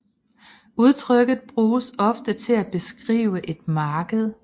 Udtrykket bruges ofte til at beskrive et marked